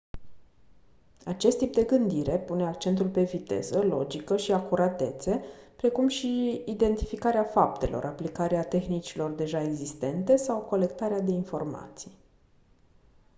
acest tip de gândire pune accentul pe viteză logică și acuratețe precum și identificarea faptelor aplicarea tehnicilor deja existente colectarea de informații